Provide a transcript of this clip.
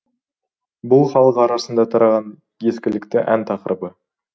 бұл халық арасына тараған ескілікті ән тақырыбы